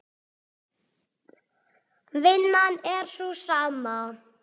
Vinnan er sú sama.